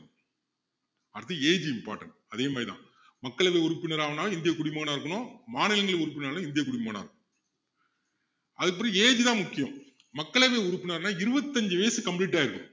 அடுத்து age important அதே மாதிரிதான் மக்களவை உறுப்பினர் ஆகணும்னா இந்திய குடிமகனா இருக்கணும் மாநிலங்களின் உறுப்பினர் ஆகணும்னா இந்திய குடிமகனா இருக்கணும் அதுக்கப்பறம் age தான் முக்கியம் மக்களவை உறுப்பினர்னா இருபத்து அஞ்சு வயசு complete ஆயிருக்கணும்